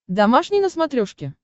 домашний на смотрешке